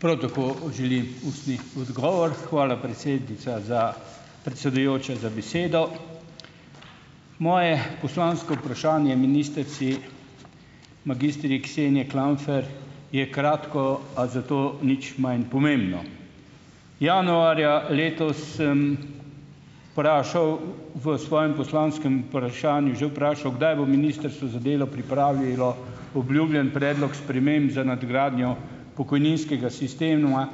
Prav tako želim ustni odgovor. Hvala, predsednica, za, predsedujoča, za besedo. Moje poslansko vprašanje ministrici magistri Kseniji Klampfer je kratko, a zato nič manj pomembno. Januarja letos sem vprašal v svojem poslanskem vprašanju že vprašal, kdaj bo Ministrstvo za delo pripravilo obljubljeni predlog sprememb za nadgradnjo pokojninskega sistema,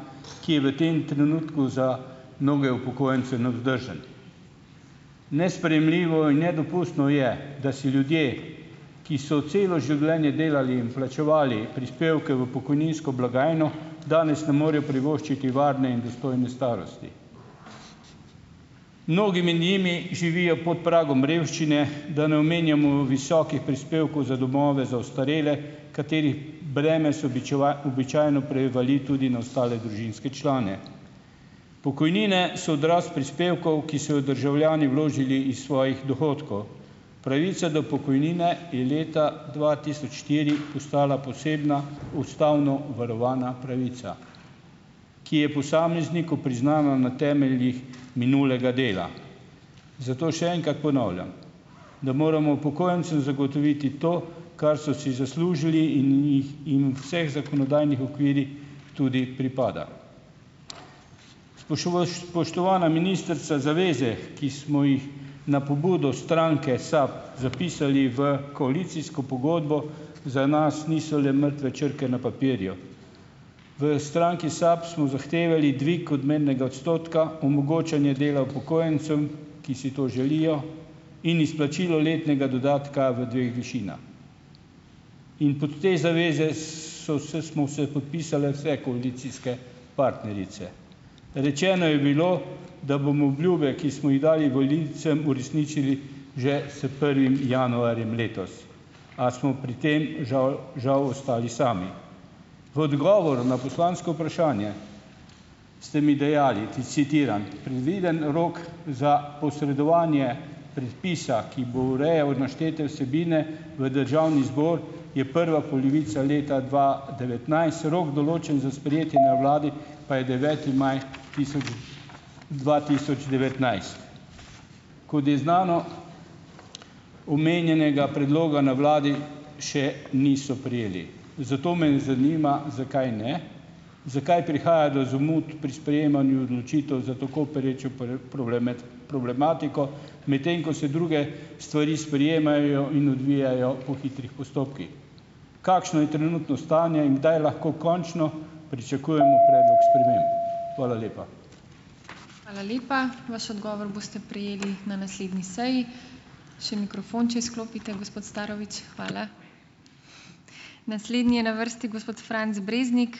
ki je v tem trenutku za mnoge upokojence nevzdržen. Nesprejemljivo in nedopustno je, da si ljudje, ki so celo življenje delali in plačevali prispevke v pokojninsko blagajno, danes ne morejo privoščiti varne in dostojne starosti. Mnogi med njimi živijo pod pragom revščine, da ne omenjamo visokih prispevkov za domove, za ostarele, katerih breme se običajno prevali tudi na ostale družinske člane. Pokojnine so odraz prispevkov, ki so jo državljani vložili iz svojih dohodkov. Pravica do pokojnine je leta dva tisoč štiri postala posebna ustavno varovana pravica, ki je posamezniku priznana na temeljih minulega dela. Zato še enkrat ponavljam, da moramo upokojencem zagotoviti to, kar so si zaslužili in jih jim v vseh zakonodajnih okvirih tudi pripada. spoštovana ministrica, zaveze, ki smo jih na pobudo stranke SAB zapisali v koalicijsko pogodbo, za nas niso le mrtve črke na papirju. V stranki SAB smo zahtevali dvig odmernega odstotka, omogočanje dela upokojencem, ki si to želijo, in izplačilo letnega dodatka v dveh višinah. In pod te zaveze so vse smo se podpisale vse koalicijske partnerice. Rečeno je bilo, da bomo obljube, ki smo jih dali volivcem, uresničili že s prvim januarjem letos, a smo pri tem žal žal ostali sami. V odgovor na poslansko vprašanje ste mi dejali, citiram: "Predvideni rok za posredovanje predpisa, ki bo urejal naštete vsebine, v državni zbor, je prva polovica leta dva devetnajst. Rok, določen za sprejetje na vladi, pa je deveti maj tisoč dva tisoč devetnajst." Kot je znano, omenjenega predloga na vladi še niso prejeli. Zato me zanima: Zakaj ne? Zakaj prihaja do zamud pri sprejemanju odločitev za tako perečo problematiko, medtem ko se druge stvari sprejemajo in odvijajo po hitrih postopkih? Kakšno je trenutno stanje in kdaj lahko končno pričakujemo predlog sprememb? Hvala lepa.